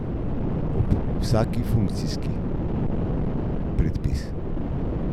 Ob vsaki je funkcijski predpis.